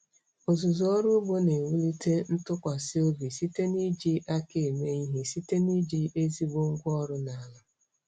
Ọzụzụ ọrụ ugbo na-ewulite ntụkwasị obi site n'iji aka eme ihe site na iji ezigbo ngwa ọrụ na ala.